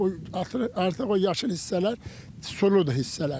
artıq o yaşıl hissələr suludur hissələrdir.